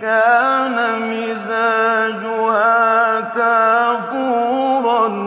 كَانَ مِزَاجُهَا كَافُورًا